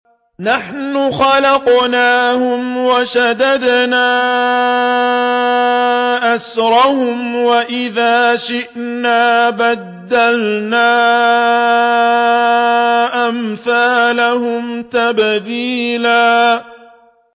نَّحْنُ خَلَقْنَاهُمْ وَشَدَدْنَا أَسْرَهُمْ ۖ وَإِذَا شِئْنَا بَدَّلْنَا أَمْثَالَهُمْ تَبْدِيلًا